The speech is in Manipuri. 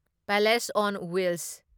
palace on wheels